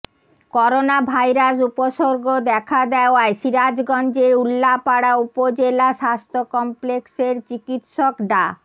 coronavirus উপসর্গ দেখা দেওয়ায় সিরাজগঞ্জের উল্লাপাড়া উপজেলা স্বাস্থ্য কমপ্লেক্সের চিকিৎসক ডা